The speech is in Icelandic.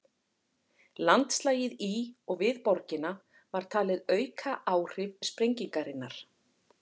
Landslagið í og við borgina var talið auka áhrif sprengingarinnar.